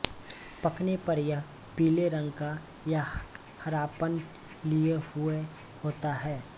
पकने पर यह पीले रंग का या हरापन लिए हुए होता है